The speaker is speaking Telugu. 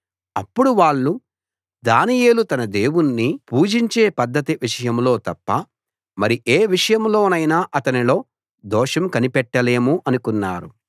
అప్పుడు వాళ్ళు దానియేలు తన దేవుణ్ణి పూజించే పద్ధతి విషయంలో తప్ప మరి ఏ విషయంలోనైనా అతనిలో దోషం కనిపెట్టలేము అనుకున్నారు